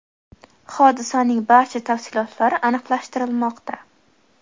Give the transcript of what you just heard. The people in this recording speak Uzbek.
Hodisaning barcha tafsilotlari aniqlashtirilmoqda.